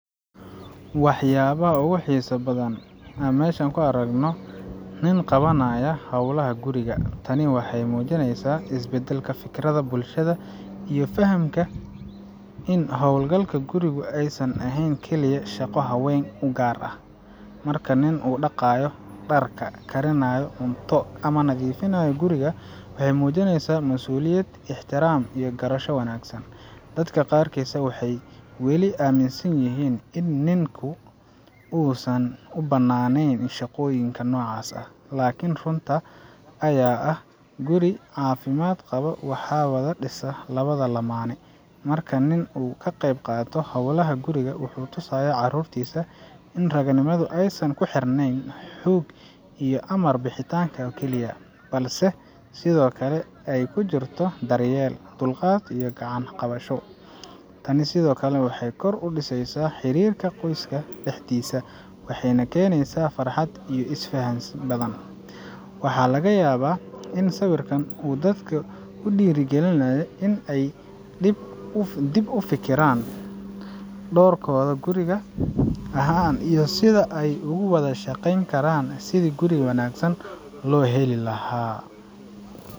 Waa wax aad u xiiso badan in aan aragno nin qabanaya howlaha guriga. Tani waxay muujineysaa isbeddelka fikirka bulshada iyo fahamka in howl galka gurigu aysan ahayn oo keliya shaqo haweenka u gaar ah. Marka nin uu dhaqayo dharka, karinayo cunto, ama nadiifinayo guriga, wuxuu muujinayaa masuuliyad, ixtiraam iyo garasho wanaagsan. Dadka qaarkiis waxay weli aaminsan yihiin in ninku aysan u bannaaneyn shaqooyinka noocaas ah, laakiin runta ayaa ah, guri caafimaad qaba waxaa wada dhisa labada lamaane. Marka nin uu ka qeyb qaato howlaha guriga, wuxuu tusayaa carruurtiisa in raganimadu aysan ku xirneyn xoog iyo amar bixinta oo keliya, balse sidoo kale ay ku jirto daryeel, dulqaad iyo gacan qabasho. Tani sidoo kale waxay kor u qaadaysaa xiriirka qoyska dhexdiisa, waxayna keeneysaa farxad iyo is faham badan. Waxaa laga yaabaa in sawirkan uu dadka ku dhiirrigeliyo in ay dib uga fikiraan doorkooda guri ahaan iyo sida ay ugu wada shaqeyn karaan sidii guri wanaagsan loo heli lahaa.